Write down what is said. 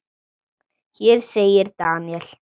Hér segir Daniel